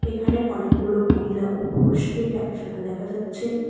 এখানে অনেকগুলো মহিলা ও পুরুষকে একসাথে দেখা যাচ্ছে।